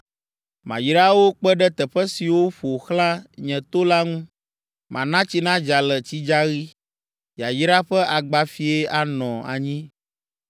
Mayra wo kpe ɖe teƒe siwo ƒo xlã nye to la ŋu. Mana tsi nadza le tsidzaɣi, yayra ƒe agbafie anɔ anyi.